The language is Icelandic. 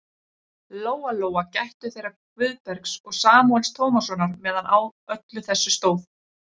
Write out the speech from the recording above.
Lóa-Lóa gættu þeirra Guðbergs og Samúels Tómassonar meðan á öllu þessu stóð.